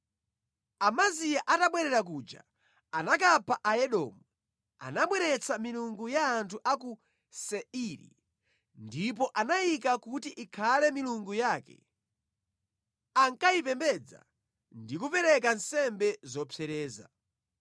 Amaziya atabwerera kuja anakapha Aedomu, anabweretsa milungu ya anthu a ku Seiri. Ndipo anayika kuti ikhale milungu yake, ankayipembedza ndi kupereka nsembe zopsereza.